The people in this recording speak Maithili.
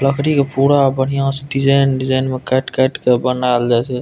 लकड़ी के पूरा बढ़िया स डिज़ाइन - डिज़ाइन में कायट-कायट के बनायल जाये छे।